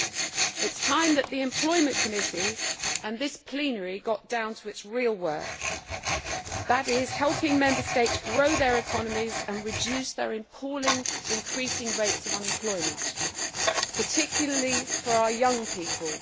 It is time that the Committee on Employment and Social Affairs and this plenary got down to their real work that is, helping Member States grow their economies and reduce their appalling increasing rates of unemployment, particularly for our young people.